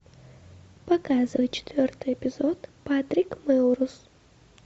показывай четвертый эпизод патрик мелроуз